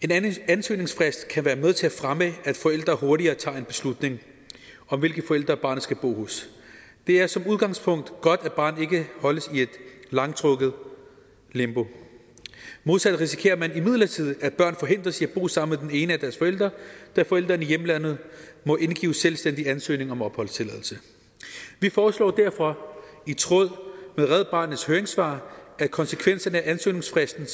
en ansøgningsfrist kan være med til at fremme at forældre hurtigere tager beslutning om hvilken forælder barnet skal bo hos det er som udgangspunkt godt at barnet ikke holdes i et langtrukket limbo modsat risikerer man imidlertid at børn forhindres i at bo sammen med den ene af deres forældre da forælderen i hjemlandet må indgive selvstændig ansøgning om opholdstilladelse vi foreslår derfor i tråd med red barnets høringssvar at konsekvenserne af ansøgningsfristen